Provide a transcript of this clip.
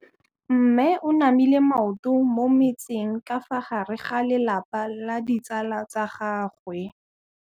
Mme o namile maoto mo mmetseng ka fa gare ga lelapa le ditsala tsa gagwe.